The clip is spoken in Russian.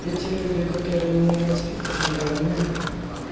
эти люди которые меня воспитывали они